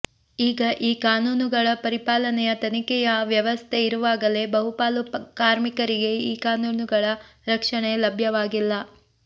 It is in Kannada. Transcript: ಈಗ ಈ ಕಾನೂನುಗಳ ಪರಿಪಾಲನೆಯ ತನಿಖೆಯ ವ್ಯವಸ್ಥೆ ಇರುವಾಗಲೇ ಬಹುಪಾಲು ಕಾರ್ಮಿಕರಿಗೆ ಈ ಕಾನೂನುಗಳ ರಕ್ಷಣೆ ಲಭ್ಯವಾಗಿಲ್ಲ